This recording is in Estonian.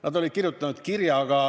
Nad olid kirjutanud kirja.